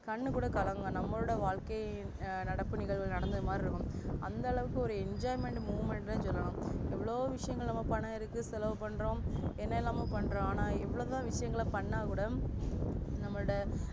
கண்ணு கூட கலங்கும் நம்மலுட வாழ்க்கையின் நடப்பு நிகழ்வு நடந்த மாதிரி இருக்கும் அந்த அளவுக்கு ஒரு enjoyment moment னு சொல்லலா எவ்ளோ விஷயங்கள் பணம் இருக்கு செலவ பண்றோம் என்னேய்லாம் பண்றோம் ஆனா எவ்ளோதா விஷயங்கள பன்னா கூட நம்மலுட